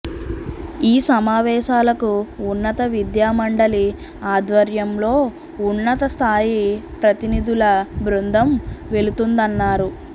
ఈ సమావేశాలకు ఉన్నత విద్యా మండలి ఆధ్వర్యంలో ఉన్నత స్థాయి ప్రతినిధుల బృందం వెళ్ళుతుందన్నారు